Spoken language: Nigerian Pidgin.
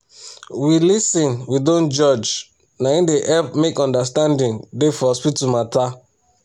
we lis ten we dont judge naim dey help make understanding da for hospital matter